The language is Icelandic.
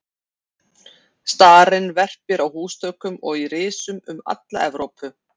Starinn verpir á húsþökum og í risum um alla Evrópu.